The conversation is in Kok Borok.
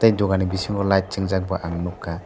dogani bisingo light chingjak bo ang nugkha.